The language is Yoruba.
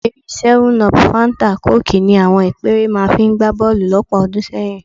Ìdérí 7up, fáńtà kóòkì ni àwọn ìpẹ́ẹ́rẹ́ máa fi ń gbá bọ́ọ̀lù lọ́pọ̀ ọdún sẹ́yìn